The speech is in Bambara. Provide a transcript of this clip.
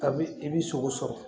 Kabini i bi sogo sɔrɔ